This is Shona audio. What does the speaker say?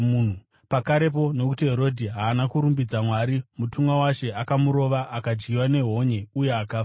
Pakarepo, nokuti Herodhi haana kurumbidza Mwari, mutumwa waShe akamurova, akadyiwa nehonye uye akafa.